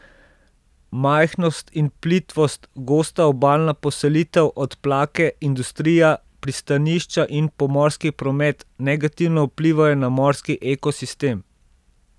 Majhnost in plitvost, gosta obalna poselitev, odplake, industrija, pristanišča in pomorski promet negativno vplivajo na morski ekosistem.